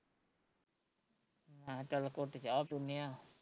ਮੈਂ ਕਿਹਾਂ ਚੱਲ ਘੁੱਟ ਚ ਪੀਣੇ ਆ